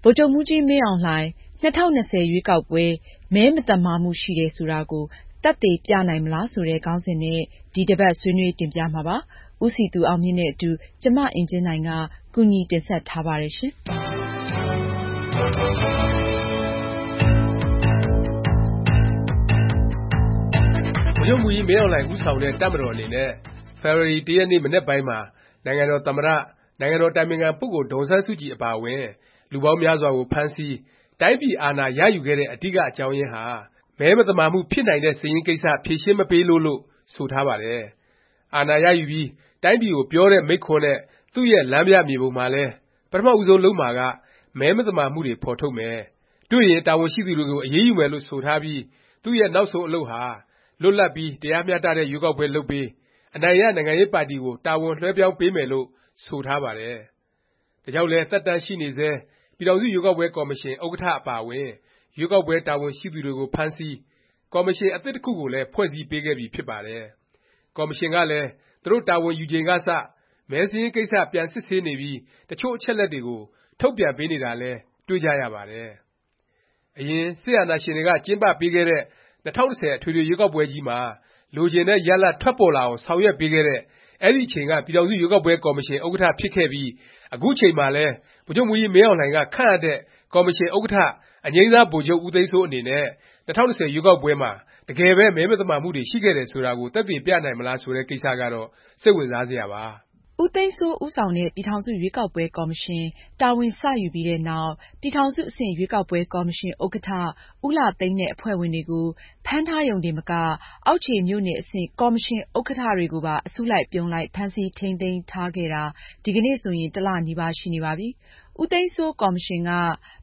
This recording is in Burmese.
ဗိုလ်ချုပ်မှူးကြီး မင်းအောင်လှိုင် ဦးဆောင်တဲ့ တပ်မတော် အနေနဲ့ ဖေဖေါ်ဝါရီ ၁ရက် မနက်ပိုင်းမှာ နိုင်ငံတော် သမ္မတ၊ နိုင်ငံတော် အတိုင်ပင်ခံ ပုဂ္ဂိုလ် ဒေါ်အောင်ဆန်းစုကြည် အပါအဝင် လူပေါင်းများစွာကို ဖမ်းဆီး၊ တိုင်းပြည်အာဏာရယူခဲ့တဲ့ အဓိက အကြောင်းရင်းဟာ “ မဲမသမာမှု ဖြစ်နိုင်တဲ့ စာရင်း” ကိစ္စ ဖြေရှင်းမပေးလို့ လို့ ဆိုထားပါတယ်။ အာဏာရယူပြီး တိုင်းပြည်ကို ပြောတဲ့ မိန့်ခွန်းနဲ့ သူ့ရဲ့ လမ်းပြမြေပုံမှာလည်း ပထမ ဦးဆုံးလုပ်မှာက မဲမသမာမှုတွေ ဖော်ထုတ်မယ်၊ တွေ့ရင် တာဝန်ရှိသူတွေကို အရေးယူမယ် လို့ ဆိုထားပြီး သူ့ရဲ့ နောက်ဆုံး အလုပ်ဟာ လွတ်လပ်ပြီး ရားမျှတတဲ့ ရွေးကောက်ပွဲ လုပ်ပေး၊ အနိုင်ရ နိုင်ငံရေးပါတီကို တာဝန်လွဲှပြောင်းပေးမယ်လို့ ဆိုထားပါတယ်။ ဒါကြောင့်လည်း သက်တမ်းရှိနေဆဲ ပြည်ထောင်စု ရွေးကောက်ပွဲ ကော်မရှင် ဥက္ကဌ အပါအဝင် ရွေးကောက်ပွဲ တာဝန်ရှိသူတွေကို ဖမ်းဆီး၊ ကော်မရှင် အသစ်တစ်ခုကိုလည်း ဖွဲ့စည်း ပေးခဲ့ပြီဖြစ်ပါတယ်။ ကော်မရှင်ကလည်း သူတို့ တာဝန်ယူချိန်ကစ မဲစာရင်းကိစ္စ ပြန်စစ်ဆေးနေပြီး တစ်ချို့ အချက်အလက်တွေကို ထုတ်ပြန်ပေးနေတာလည်း တွေ့ကြရပါတယ်။ အရင် စစ်အာဏာရှင်တွေက ကျင်းပပေးခဲ့တဲ့ ၂၀၁၀ အထွေထွေ ရွေးကောက်ပွဲကြီးမှာ လိုချင်တဲ့ ရလာဒ် ထွက်ပေါ်လာအောင် ဆောင်ရွက်ပေးခဲ့တဲ့ အဲဒီ အချိန်က ပြည်ထောင်စု ရွေးကောက်ပွဲ ကော်မရှင် ဥက္ကဌ ဖြစ်ခဲ့ပြီး အခုချိန်မှာလည်း ဗိုလ်ချုပ်မှူးကြီးမင်းအောင်လှိုင်က ခန့်အပ်တဲ့ ကော်မရှင် ဥက္ကဌ အငြိမ်းစားဗိုလ်ချုပ် ဦးသိန်းစိုး အနေနဲ့ ၂၀၂၀ ရွေးကောက်ပွဲမှာ တကယ်ပဲ မဲမသမာမှုတွေ ရှိခဲ့တယ် ဆိုတာကို သက်သေပြနိုင်မလား ဆိုတဲ့ ကိစ္စကတော့ စိတ်ဝင်စားစရာပါ။ ဦးသိန်းစိုး ဦးဆောင်တဲ့ ပြည်ထောင်စု ရွေးကောက်ပွဲ ကော်မရှင် တာဝန် စ ယူပြီးနောက် ပြည်ထောင်စု အဆင့် ရွေးကောက်ပွဲ ကော်မရှင် ဥက္ကဌ ဦးလှသိန်းနဲ့ အဖွဲ့ဝင်တွေကို ဖမ်းထားရုံတင်မက အောက်ခြေ မြို့နယ် အဆင့် ကော်မရှင် ဥက္ကဌ တွေကိုပါ အစုလိုက်အပြုံလိုက် ဖမ်းဆီးထိမ်းသိမ်းထားခဲ့တာ ဒီကနေ့ဆိုရင် တစ်လ နီးပါး ရှိနေပါပြီ။ ဦးသိန်းစိုး ကော်မရှင်က